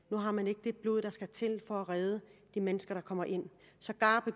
blod der skal til for at redde de mennesker der kommer ind sågar